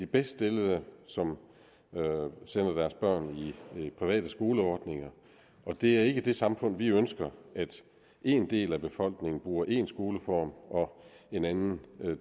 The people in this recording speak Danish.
bedst stillede som sender deres børn i private skoleordninger og det er ikke det samfund vi ønsker at én del af befolkningen bruger én skoleform og en anden